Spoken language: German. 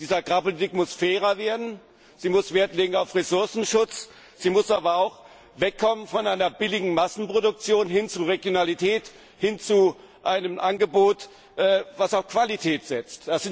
Die Agrarpolitik muss fairer werden, sie muss Wert legen auf Ressourcenschutz, sie muss aber auch wegkommen von einer billigen Massenproduktion hin zu Regionalität, hin zu einem Angebot, das auf Qualität setzt.